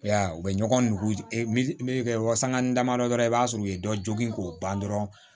I y'a ye u bɛ ɲɔgɔn nugu wasakanni damadɔ dɔrɔn i b'a sɔrɔ u ye dɔ jogin k'o ban dɔrɔn